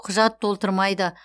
құжат толтырмайды